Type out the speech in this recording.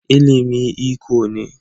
ilimi iko ne